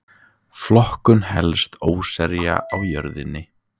Flokkun helstu óseyra á jörðinni.